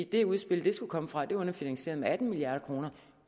det udspil de skulle komme fra er underfinansieret med atten milliard kroner